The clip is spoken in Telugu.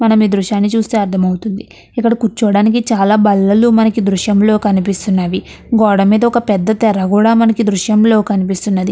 మనం ఈ దృశ్య అర్ధం అవుతుంది. ఇక్కడ కూర్చోడానికి చాలా బల్లలు ఈ దృశ్యంలో కనిపిస్తున్నవి. గోడ మీద ఒక పెద్ద తెర కూడా మనకి ఈ దృశ్యంలో కనిపిస్తున్నది.